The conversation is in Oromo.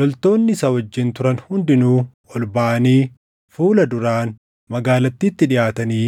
Loltoonni isa wajjin turan hundinuu ol baʼanii fuula duraan magaalattiitti dhiʼaatanii